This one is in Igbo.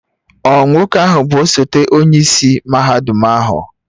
Ọ Nwoke ahu bu osote onye isi mahadum ahu?